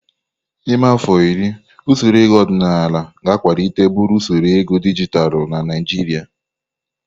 N'ime afọ iri, usoro ego ọdịnala ga-akwalite buru usoro ego dijitalụ na Naijiria.